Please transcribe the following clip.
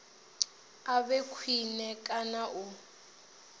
a vhe khwine kana u